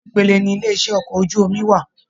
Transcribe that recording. Ṣe nipele ní ilé iṣẹ okọ̀ ojú omi wà?